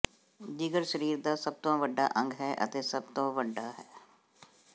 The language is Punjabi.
ਜਿਗਰ ਸਰੀਰ ਦਾ ਸਭ ਤੋਂ ਵੱਡਾ ਅੰਗ ਹੈ ਅਤੇ ਸਭ ਤੋਂ ਵੱਡਾ ਹੈ